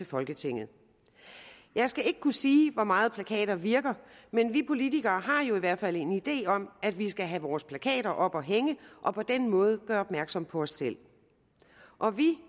folketinget jeg skal ikke kunne sige hvor meget plakater virker men vi politikere har jo i hvert fald en idé om at vi skal have vores plakater op at hænge og på den måde gøre opmærksom på os selv og vi